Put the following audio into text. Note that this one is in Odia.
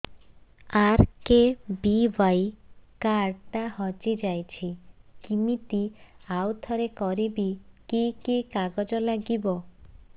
ଆର୍.କେ.ବି.ୱାଇ କାର୍ଡ ଟା ହଜିଯାଇଛି କିମିତି ଆଉଥରେ କରିବି କି କି କାଗଜ ଲାଗିବ